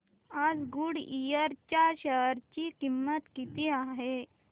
आज गुडइयर च्या शेअर ची किंमत किती आहे